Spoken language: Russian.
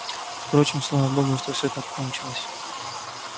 впрочем слава богу что всё так кончилось